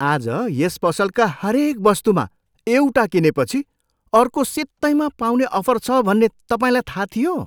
आज यस पसलका हरेक वस्तुमा एउटा किनेपछि अर्को सित्तैँमा पाउने अफर छ भन्ने तपाईँलाई थाहा थियो?